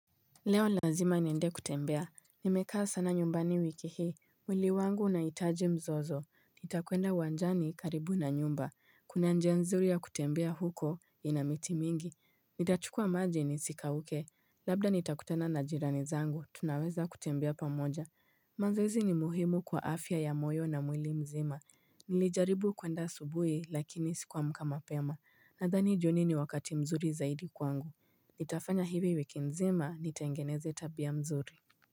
Leo lazima niende kutembea. Nimekaa sana nyumbani wiki hii mwili wangu unahitaji mzozo Nitakwenda uwanjani karibu na nyumba. Kuna njia nzuri ya kutembea huko ina miti mingi Nitachukua maji nisikauke Labda nitakutana na jirani zangu, tunaweza kutembea pamoja mazoezi ni muhimu kwa afya ya moyo na mwili mzima Nilijaribu kuenda asubuhi lakini sikuamka mapema. Nadhani jioni ni wakati mzuri zaidi kwangu Nitafanya hivi wiki nzima nitengeneze tabia mzuri.